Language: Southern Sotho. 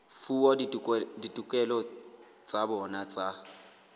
fuwa ditokelo tsa bona tsa